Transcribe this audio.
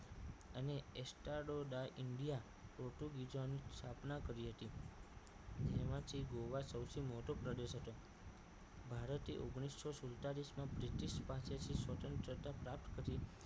અને astranoda india પોર્ટુગીઝોની સ્થાપના કરી હતી તેમાંથી ગોવા સૌથી મોટો પ્રદેશ હતો ભારતે ઓગણીસો સુડતાલીસ માં બ્રિટિશ પાસેથી સ્વતંત્રતા પ્રાપ્ત કરી